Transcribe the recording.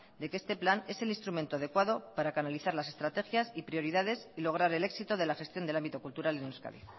de que este plan es el instrumento adecuado para canalizar las estrategias y prioridades y lograr el éxito de la gestión del ámbito cultural en euskadi